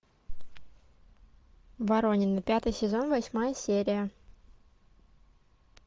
воронины пятый сезон восьмая серия